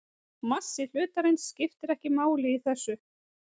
Massi hlutarins skiptir ekki máli í þessu.